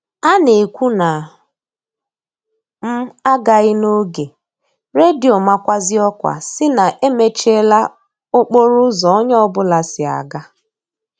A na-ekwu na m a gaghị n'oge, redio makwazie ọkwa sị na emechiela okporo ụzọ onye ọ bụla si aga